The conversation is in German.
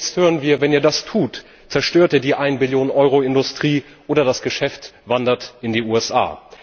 Jetzt hören wir Wenn ihr das tut, zerstört ihr die Eine Billion Euro Industrie, oder das Geschäft wandert in die USA.